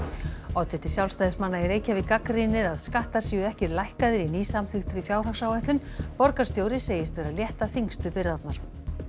oddviti Sjálfstæðismanna í Reykjavík gagnrýnir að skattar séu ekki lækkaðir í nýsamþykktri fjárhagsáætlun borgarstjóri segist vera að létta þyngstu byrðarnar